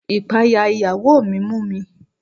Ìpayà ìyàwó mi mú mi.